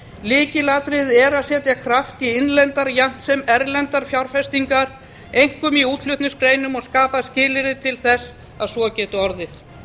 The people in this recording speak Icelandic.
lykilatriði er að setja kraft í innlendar jafnt sem erlendar fjárfestingar einkum í útflutningsgreinum og skapa skilyrði til þess að svo geti orðið